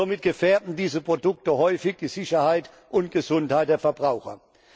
Somit gefährden diese Produkte häufig die Sicherheit und Gesundheit der Verbraucher.